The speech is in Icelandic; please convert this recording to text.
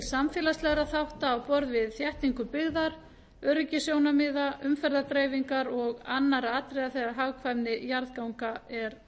samfélagslegra þátta á borð við þéttingu byggðar öryggissjónarmiða umferðardreifingar og annarra atriða þegar hagkvæmni jarðganga er